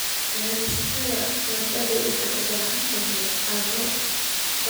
Beerista baradhada waxay u baahan tahay carro bacrin ah.